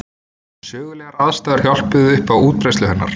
Sögulegar aðstæður hjálpuðu upp á útbreiðslu hennar.